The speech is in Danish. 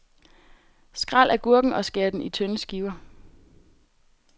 Skræl agurken og skær den i tynde skiver.